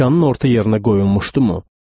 Dükanın orta yerinə qoyulmuşdumu?